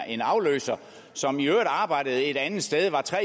en afløser som i øvrigt arbejdede et andet sted var tre